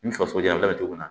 Ni faso y'a kɛ cogo min na